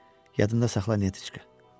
Yadında saxla, Netiçka.